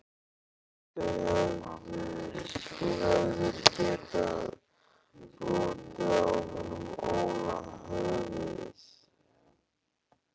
Þú hefðir getað brotið á honum Óla höfuðið.